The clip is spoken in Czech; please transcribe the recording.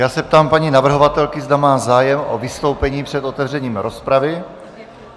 Já se ptám paní navrhovatelky, zda má zájem o vystoupení před otevřením rozpravy.